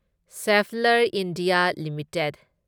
Schaeffler India limited